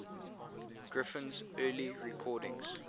griffin's early recordings